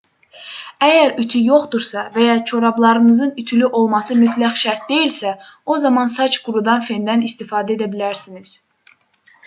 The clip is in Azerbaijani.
əgər ütü yoxdursa və ya corablarınızın ütülü olması mütləq şərt deyilsə o zaman saç qurudan fendən istifadə edə bilərsiniz